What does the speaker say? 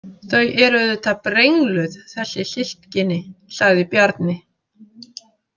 Þau eru auðvitað brengluð, þessi systkini, sagði Bjarni.